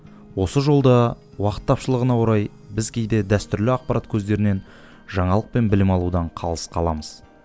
осы жолда уақыт тапшылығына орай біз кейде дәстүрлі ақпарат көздерінен жаңалық пен білім алудан қалыс қаламыз